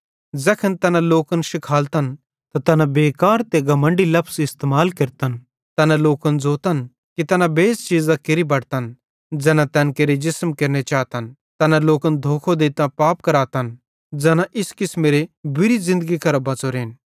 ज़ैखन तैना लोकन शिखालतन त तैना बेकार ते घमण्डी लफज़ इस्तेमाल केरतन तैना लोकन ज़ोतन कि तैना बेइज़्ज़त चीज़ां केरि बटतन ज़ैना तैन केरे जिसम केरने चातन तैना लोकन धोखो देइतां पाप करातन ज़ैना इस किसमेरी बुरी ज़िन्दगी करां बच़ोरेन